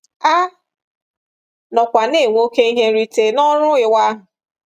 A nọkwa na-enwe oké ihe nrite n’ọrụ ịwa ahụ.